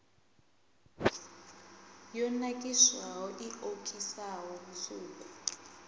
yo nakiswaho i okisaho musuku